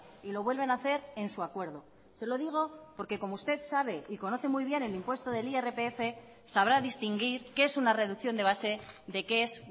y lo vuelven a hacer en su acuerdo se lo digo porque como usted sabe y conoce muy bien el impuesto del irpf sabrá distinguir qué es una reducción de base de qué es